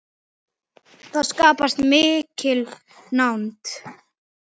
Það skapast mikil nánd.